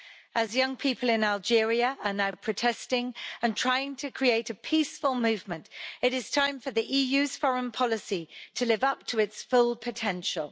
As young people in Algeria are now protesting and trying to create a peaceful movement, it is time for the EU's foreign policy to live up to its full potential.